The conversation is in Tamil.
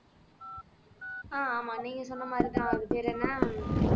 ஆஹ் ஆமா நீங்க சொன்ன மாதிரிதான் அது பேர் என்ன